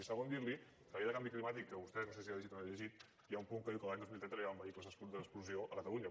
i segon dir li que a la llei de canvi climàtic que vostè no sé si ha llegit o no ha llegit hi ha un punt que diu que l’any dos mil trenta no hi hauran vehicles d’explosió a catalunya